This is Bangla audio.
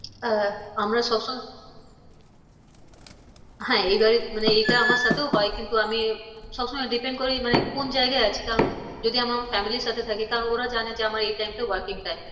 আহ আমরা সবসময় হ্যাঁ মানে এটা আমার সাথেও হয় কিন্তু আমি সবসময় depend করি মানে কোন জায়গায় আছি কারণ। যদি আমার family র সাথে থাকি কারণ ওরা জানে যে আমার এই time টা working time